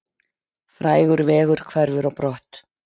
Frægur vegur hverfur á brott